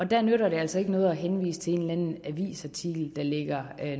der nytter det altså ikke noget at henvise til en eller anden avisartikel der ligger